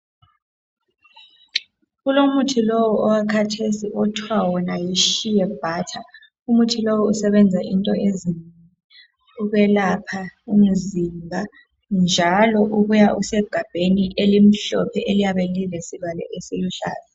Kulomuthi lowo owakhathesi okuthiwa wona yiSheabutter, umuthi lowo usebenza into ezinengi ukwelapha umzimba njalo ubuya usegambeni elimhlophe eliyabe lilesivalo esiluhlaza.